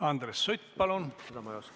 Andres Sutt, palun!